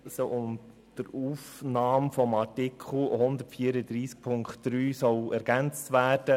Es soll ein Artikel 134 Absatz 3 (neu) ergänzt werden: